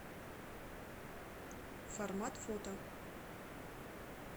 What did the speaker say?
формат фото